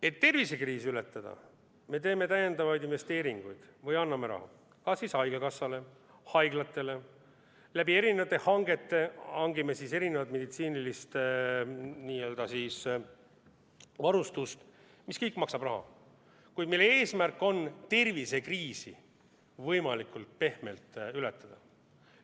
Et tervisekriisi ületada, me teeme lisainvesteeringuid või anname raha haigekassale, haiglatele, eri hangetega hangime meditsiinilist varustust, mis kõik maksab raha, kuid mille eesmärk on tervisekriisi võimalikult pehmelt ületada.